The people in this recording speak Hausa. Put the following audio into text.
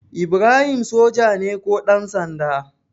Ibrahim soja ne ko ɗansanda?